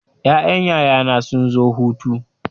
Ƴaƴan yaya na sun zo hutu.